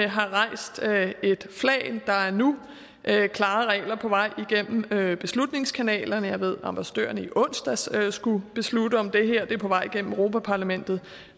har rejst et flag der er nu klare regler på vej igennem beslutningskanalerne jeg ved at ambassadørerne i onsdags skulle beslutte om det her er på vej igennem europa parlamentet